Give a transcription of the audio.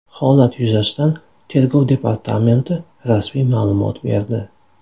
Holat yuzasidan Tergov departamenti rasmiy ma’lumot berdi .